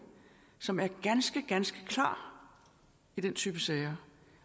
som er ganske ganske klar i den type sager